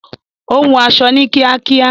Ó hun aṣọ ní kíákíá